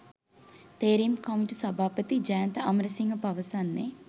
තේරීම් කමිටු සභාපති ජයන්ත අමරසිංහ පවසන්නේ.